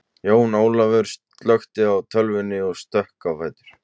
Jón Ólafaur slökkti á tölvunni og stökk á fætur.